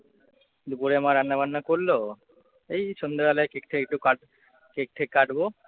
দুপুরে মা রান্না বান্না করলো। এই সন্ধ্যাবেলা কেকটা একটু কাট কেক-টেক কাটবো